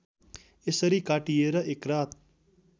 यसरी काटिएर एकरात